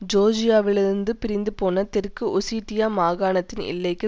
ஜோர்ஜியாவிலிருந்து பிரிந்துபோன தெற்கு ஒசிட்டியா மாகாணத்தின் எல்லைக்கு